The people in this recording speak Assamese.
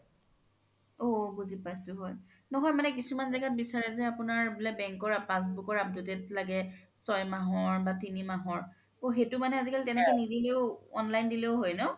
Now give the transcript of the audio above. ঔ বুজি পাইছো হয় নহয় কিছুমান জেগাত বিচাৰে যে আপোনাৰ বুলে bank ৰ passbook ৰ updated লাগে চয় মাহৰ বা তিনি মাহৰ সেইতো মানে আজিকালি তেনেকে নিদিলেও online দিলেও হয় ন